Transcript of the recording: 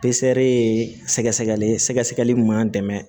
ye sɛgɛsɛgɛli ye sɛgɛsɛgɛli min b'an dɛmɛ